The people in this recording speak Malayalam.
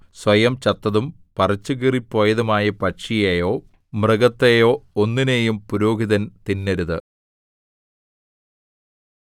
സ്വയം ചത്തതും പറിച്ചുകീറിപ്പോയതുമായ പക്ഷിയെയോ മൃഗത്തെയോ ഒന്നിനെയും പുരോഹിതൻ തിന്നരുത്